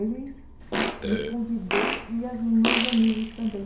Ele me convidou e as meus amigos também.